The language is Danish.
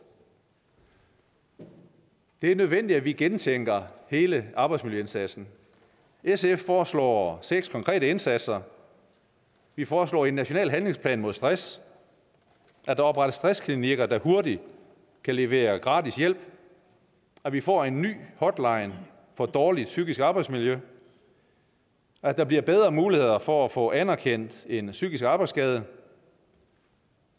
det er nødvendigt at vi gentænker hele arbejdsmiljøindsatsen sf foreslår seks konkrete indsatser vi foreslår en national handlingsplan mod stress at der oprettes stressklinikker der hurtigt kan levere gratis hjælp at vi får en ny hotline for dårligt psykisk arbejdsmiljø at der bliver bedre muligheder for at få anerkendt en psykisk arbejdsskade